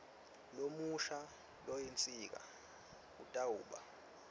lomusha loyinsika kutawuba